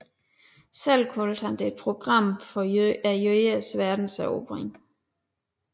Selv kaldte han det Program for jødernes verdenserobring